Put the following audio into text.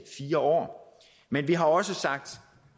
fire år men vi har også